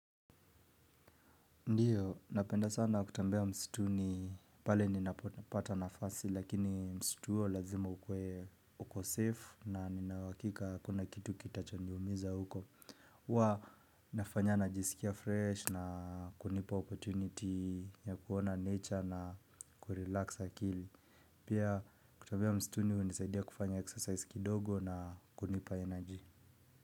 Ndiyo, napenda sana kutembea msituni pale ninapopata nafasi lakini msitu huo lazima ukuwe uko safe na nina uhakika hakuna kitu kitachoniumiza huko. Huwa nafanya najisikia fresh na kunipa opportunity ya kuona nature na kurelax akili. Pia kutembea msituni hunisaidia kufanya exercise kidogo na kunipa energy.